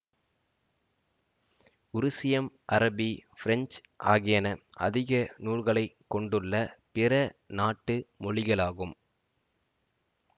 உருசியம் அரபி பிரெஞ்சு ஆகியன அதிக நூல்களை கொண்டுள்ள பிற நாட்டு மொழிகளாகும்